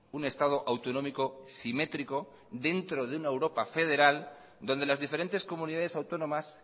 un estado autonómico simétrico dentro de una europa federal donde las diferentes comunidades autónomas